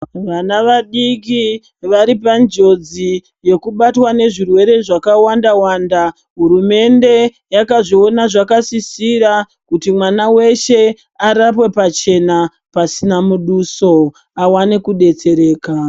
Vana vadiki varipanjodzi yekubatwa nezvirwere zvakawanda-wanda, hurumende yakazviona zvakasisira kuti mwana weshe arapwe pachena pasina muduso awane kudetsereka.